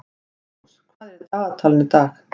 Ástrós, hvað er í dagatalinu í dag?